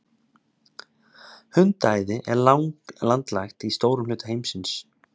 Hundaæði er landlægt í stórum hluta heimsins.